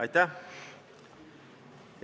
Aitäh!